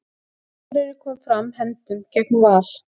Akureyri kom fram hefndum gegn Val